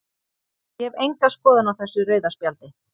Ég hef enga skoðun á þessu rauða spjaldi.